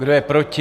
Kdo je proti?